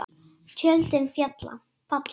Tjöldin falla.